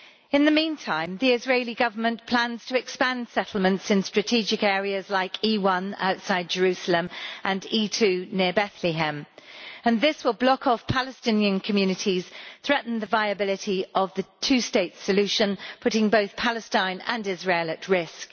In the meantime, the Israeli Government plans to expand settlements in strategic areas like E1 outside Jerusalem and E2 near Bethlehem, which will block off Palestinian communities and threaten the viability of the two state solution, putting both Palestine and Israel at risk.